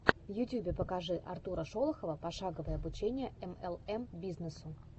в ютьюбе покажи артура шолохова пошаговое обучение млм бизнесу